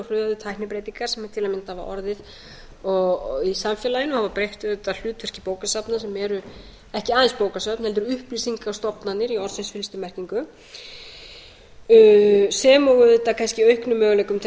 hröðu tæknibreytingar sem til að mynda hafa orðið í samfélaginu og breytt auðvitað hlutverki bókasafna sem eru ekki aðeins bókasöfn heldur upplýsingastofnanir í orðsins fyllstu merkingu sem og auðvitað kannski auknum möguleikum til